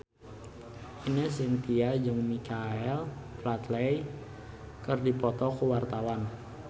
Ine Shintya jeung Michael Flatley keur dipoto ku wartawan